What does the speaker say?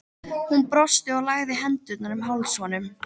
Hún brosti og lagði hendurnar um háls honum.